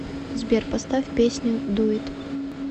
сбер поставь песню ду ит